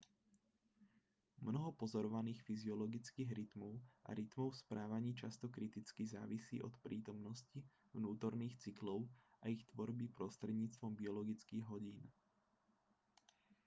mnoho pozorovaných fyziologických rytmov a rytmov v správaní často kriticky závisí od prítomnosti vnútorných cyklov a ich tvorby prostredníctvom biologických hodín